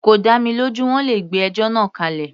Kò dá mi lójú, wọ́n le gbé ẹjọ́ náà kálẹ̀.